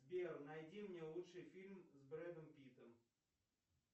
сбер найди мне лучший фильм с бредом питтом